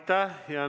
Aitäh!